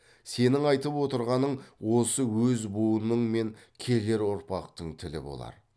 сенің айтып отырғаның осы өз буының мен керер ұрпақтың тілі болар